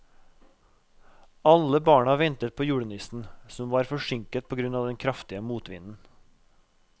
Alle barna ventet på julenissen, som var forsinket på grunn av den kraftige motvinden.